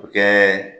O kɛ